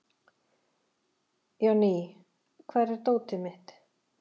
Jonný, hvar er dótið mitt?